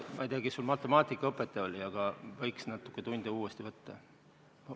Ma ei tea, kes su matemaatikaõpetaja oli, aga võiks natuke tunde veel võtta.